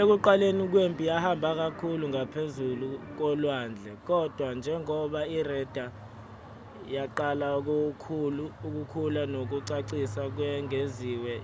ekuqaleni kwempi yahamba kakhulu ngaphezu kolwandle kodwa njengoba ireda yaqala ukukhula nokucacisa okwengeziwe